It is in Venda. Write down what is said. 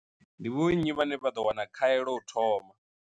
Ndi vho nnyi vhane vha ḓo wana khaelo u thoma?